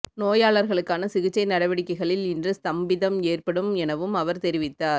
நோயாளர்களுக்கான சிகிச்சை நடவடிக்கைகளில் இன்று ஸ்தம்பிதம் ஏற்படும் எனவும் அவர் தெரிவித்தார்